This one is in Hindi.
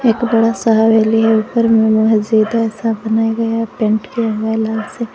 बड़ा सा हवेली है ऊपर में मस्जिद ऐसा बनाया गया पेंट किया हुआ है लाल से।